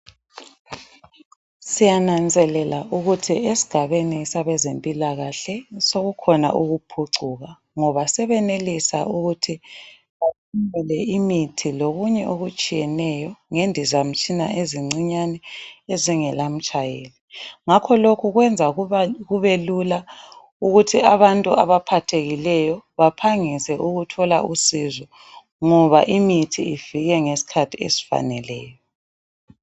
Siyananzelela ukuthi esigabeni sabezempilakahle, sokukhona ukuphucuka ngoba sebenelisa ukuthi bathwale imithi lokunye okutshiyeneyo ngendizamtshina ezincinyane ezingela mtshayeli. Ngapho lokhu kwenza ukuba kubelula ukuthi abantu abaphathekileyo bathole usizo ngoba imithi ifike ngesikhathi esifaneleyo.